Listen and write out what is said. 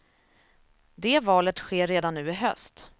Det valet sker redan nu i höst.